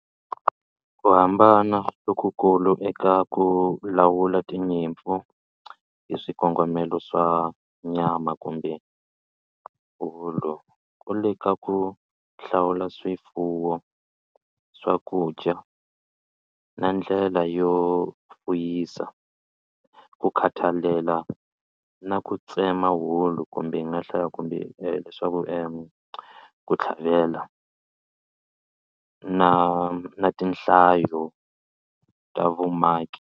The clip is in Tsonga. Ku hambana lokukulu eka ku lawula tinyimpfu hi swikongomelo swa nyama kumbe wulu ku le ka ku hlawula swifuwo, swakudya na ndlela yo fuyisa ku khathalela na ku tsema wulu kumbe hi nga hlaya kumbe leswaku ku tlhavela na na tinhlayo ta vumaki.